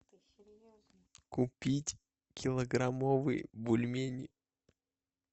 купить килограммовые бульмени